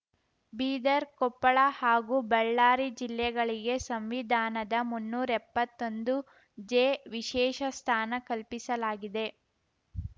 ಬೀದರ್‌ ಕೊಪ್ಪಳ ಹಾಗೂ ಬಳ್ಳಾರಿ ಜಿಲ್ಲೆಗಳಿಗೆ ಸಂವಿಧಾನದ ಮುನ್ನೂರ್ಎಪ್ಪತ್ತೊಂದು ಜೆ ವಿಶೇಷ ಸ್ಥಾನ ಕಲ್ಪಿಸಲಾಗಿದೆ